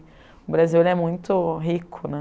O Brasil, ele é muito rico, né?